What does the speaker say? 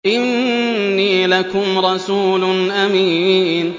إِنِّي لَكُمْ رَسُولٌ أَمِينٌ